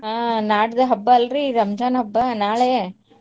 ಹಾ ನಾಡದ್ ಹಬ್ಬಾ ಅಲ್ರಿ ರಂಜಾನ್ ಹಬ್ಬಾ ನಾಳೆ.